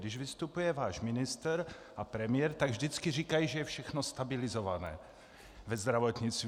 Když vystupuje váš ministr a premiér, tak vždycky říkají, že je všechno stabilizované ve zdravotnictví.